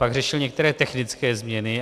Pak řešil některé technické změny.